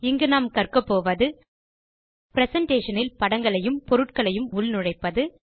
இங்கு நாம் கற்கப்போவது பிரசன்டேஷன் இல் படங்களையும் பொருட்களையும் உள் நுழைப்பது